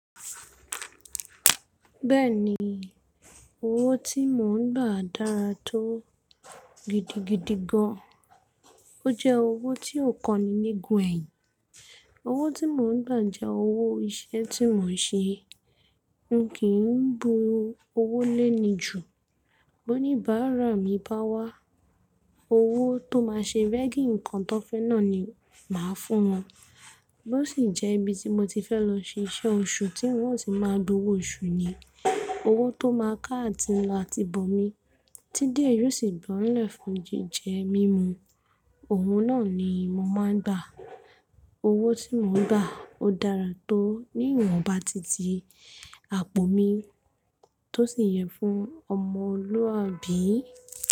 Bẹ́ẹ̀ ni, owó tí mò ń gbà dára tó gidigidi gan. Ó jẹ́ owó tí ó kan ni nígun ẹyìn. Owó tí mò ń gbà jẹ́ owó iṣẹ́ tí mò ń ṣe. N kì í bu owó léni jù. Bo ní bààrà mi bá wá, owó tó máa ṣe veggy nǹkan tó fẹ́ náà ni màá fún wọn. Bo sì jẹ́ ibi tí mo ti fẹ́ lọ ṣiṣẹ́ oṣù, tí wọn sì máa gbowó oṣù ni. Owó tó máa ká àti ńla àti bòmí, tí díẹ̀ yóò sì gbọ́ńlẹ̀ fún jíjẹ mímu. Òun náà ni mo máa ń gbà. Owó tí mò ń gbà ó dára tó, níwọ̀n bá ti ti àpò mi, tó sì yẹ fún ọmọ olúwa bí?